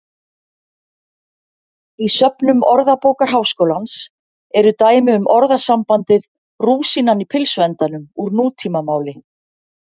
Í söfnum Orðabókar Háskólans eru dæmi um orðasambandið rúsínan í pylsuendanum úr nútímamáli.